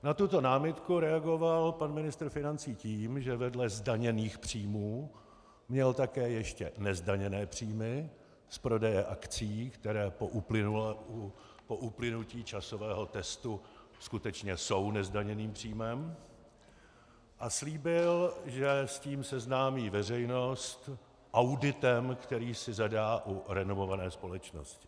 Na tuto námitku reagoval pan ministr financí tím, že vedle zdaněných příjmů měl také ještě nezdaněné příjmy z prodeje akcií, které po uplynutí časového testu skutečně jsou nezdaněným příjmem, a slíbil, že s tím seznámí veřejnost auditem, který si zadá u renomované společnosti.